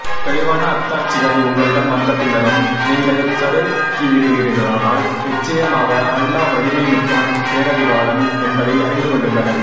தெளிவான அத்தாட்சிகள் உங்களிடம் வந்த பின்னரும் நீங்கள் சருகிவிடுவீர்களானால் நிச்சயமாக அல்லாஹ் வலிமை மிக்கவன் பேரறிவாளன் என்பதை அறிந்து கொள்ளுங்கள்